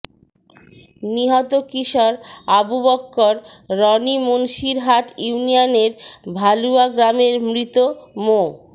নিহত কিশোর আবু বক্কর রনি মুন্সিরহাট ইউনিয়নের ভালুয়া গ্রামের মৃত মো